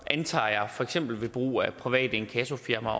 antager jeg for eksempel ved brug af private inkassofirmaer